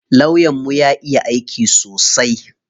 Lawyan mu ya iya aiki sosai.